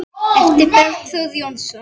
eftir Bergþór Jónsson